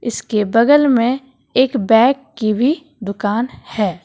इसके बगल में एक बैग की भी दुकान है।